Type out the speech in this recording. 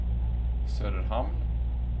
Söderhamn